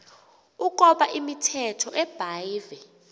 ukoba imithetho ebhahve